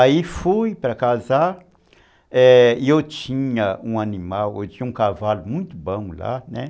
Aí fui para casar e eu tinha um animal, eu tinha um cavalo muito bom lá, né.